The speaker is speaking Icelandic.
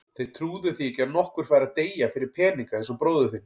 Þeir trúðu því ekki að nokkur færi að deyja fyrir peninga eins og bróðir þinn.